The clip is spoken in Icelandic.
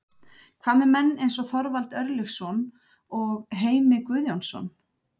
Hvað með menn eins og Þorvald Örlygsson og Heimir Guðjónsson?